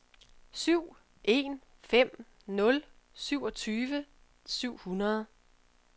syv en fem nul syvogtyve syv hundrede